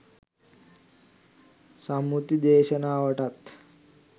සම්මුති දේශනාවටත්